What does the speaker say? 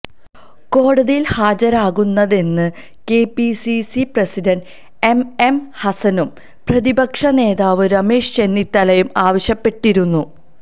കോടതിയില് ഹാജരാകരുതെന്ന് KPCC president M M ഹസനും പ്രതിപക്ഷ നേതാവ് രമേശ് ചെന്നിത്തലയും ആവശ്യപ്പെട്ടിരുന്നു